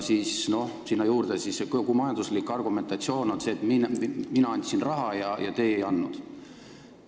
Sinna juurde see, et kogu majanduslik argumentatsioon on selline, et mina andsin raha ja teie ei andnud.